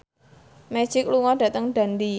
Magic lunga dhateng Dundee